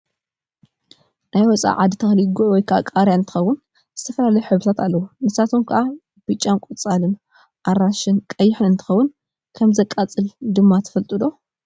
ናይ ወፃኢ ዓዲ ተክሊ ጉዕ /ቃርያ/ እንትከውን ዝተፈላለዩ ሕብርታት ኣለውዎ ንሳቶም ካኣ ብጫን ቆፃልን፣ ኣራንሽን፣ ቀይሕን እንትከውን ከም ዘይቃፅል ድማ ትፈልጡ ዶ ?